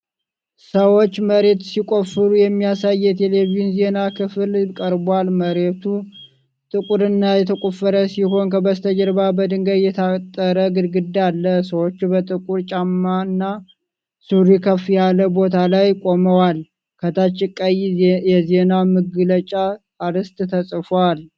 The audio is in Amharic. ሰዎች መሬት ሲቆፍሩ የሚያሳይ የቴሌቪዥን ዜና ክፍል ቀርቧል። መሬቱ ጥቁርና የተቆፈረ ሲሆን ከበስተጀርባ በድንጋይ የታጠረ ግድግዳ አለ። ሰዎች በጥቁር ጫማና ሱሪ ከፍ ያለ ቦታ ላይ ቆመዋል፤ ከታች ቀይ የዜና መግለጫ አርዕስት ተፅፏል።